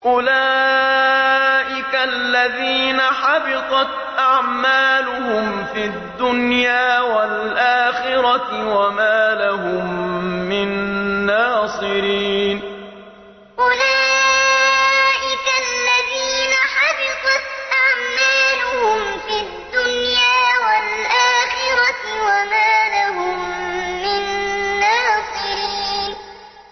أُولَٰئِكَ الَّذِينَ حَبِطَتْ أَعْمَالُهُمْ فِي الدُّنْيَا وَالْآخِرَةِ وَمَا لَهُم مِّن نَّاصِرِينَ أُولَٰئِكَ الَّذِينَ حَبِطَتْ أَعْمَالُهُمْ فِي الدُّنْيَا وَالْآخِرَةِ وَمَا لَهُم مِّن نَّاصِرِينَ